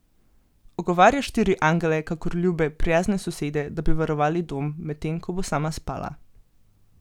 Ogovarja štiri angele kakor ljube, prijazne sosede, da bi varovali dom, medtem ko bo sama spala.